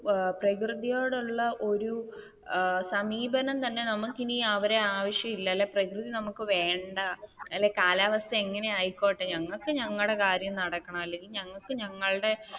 ഏർ പ്രകൃതിയോട് ഉള്ള ഒരു ഏർ സമീപനം തന്നെ നമുക്കിനി അവരെ ആവശ്യമില്ല അല്ലേൽ പ്രകൃതി നമുക്ക് വേണ്ട അല്ലങ്കിൽ കാലാവസ്ഥ എങ്ങനെ ആയിക്കോട്ടെ ഞങ്ങൾക്ക് ഞങ്ങളുടെ കാര്യം നടക്കണം അല്ലെങ്കിൽ ഞങ്ങൾക്ക് ഞങ്ങളുടെ